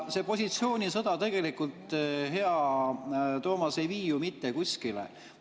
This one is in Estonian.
See positsioonisõda tegelikult, hea Toomas, ei vii ju mitte kuskile.